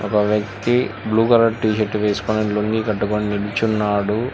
ఒక వ్యక్తి blue colour T shirt వేసుకొని లుంగీ కట్టుకొని నుంచున్నాడు.